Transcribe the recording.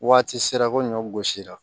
Waati sera ko ɲɔ gosi la